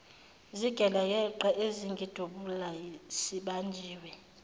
zigelekeqe ezangidubula sibanjiwe